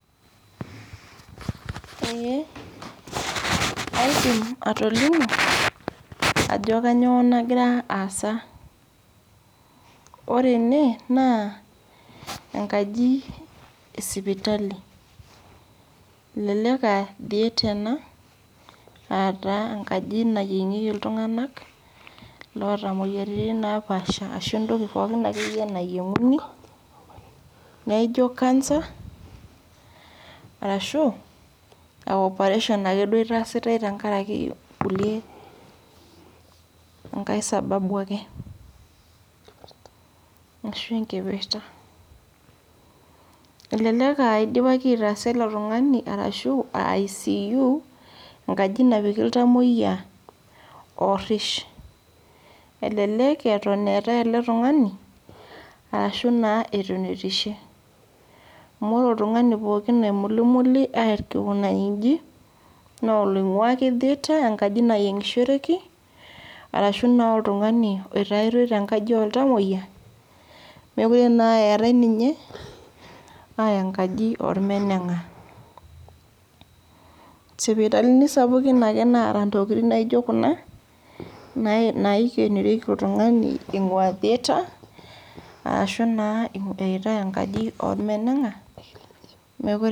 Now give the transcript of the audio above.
Ee aidim atolimu ajo kanyio nagira aasa ore ene na enkaji esipitali elelek aa theater ena enkaji nayiiengieki ltunganak lotamoyiaritin baapasha ashu entoki akeyie nayieunguni arashu operation itaasitae tenkaraki kulie nkaisababu ake ashu enkipirta eleek aa idipaki aitaasa ele tunganu ashu enkaji narish elelek eetae ele tunganu ashu naa etunutishe amu ore oltungani pooki oimulimuli aiko nji na oloingua ake theater ankaji nayieumgishoreki arashu na oltungani oyaitae tenkaji oltamoyia mekute naa eetae nunye aya enkaji ormenenga sipitalini sapukin ake naata ntokitin naijo kuna naikenorioki oltungani ingua theatre arashu na eyaitae enkaji ormenenga mekute.